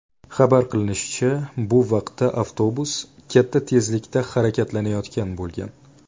Xabar qilinishicha, bu vaqtda avtobus katta tezlikda harakatlanayotgan bo‘lgan.